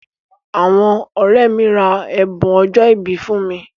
Àwọn ọ̀rẹ́ mi ra ẹ̀bùn ọjọ́ ìbí fún mi.